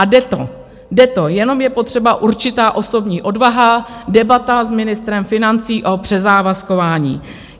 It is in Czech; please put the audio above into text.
A jde to, jenom je potřeba určitá osobní odvaha, debata s ministrem financí o přezávazkování.